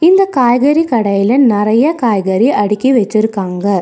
இந்த காய்கறி கடையில நெறைய காய்கறி அடுக்கி வெச்சுருக்காங்க.